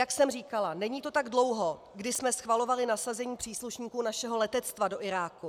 Jak jsem říkala, není to tak dlouho, kdy jsme schvalovali nasazení příslušníků našeho letectva do Iráku.